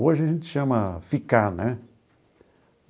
Hoje a gente chama ficar, né?